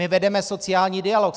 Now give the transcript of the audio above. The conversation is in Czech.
My vedeme sociální dialog.